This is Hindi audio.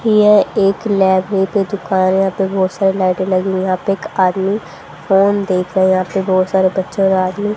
यह एक लाईब्रेरी दिखा रहे है यहां पे बहुत सारी लाइटें लगी हुई है यहां पे एक आदमी फोन देख रहे हैं यहां पे बहुत सारे बच्चे और आदमी --